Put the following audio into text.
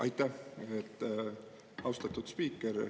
Aitäh, austatud spiiker!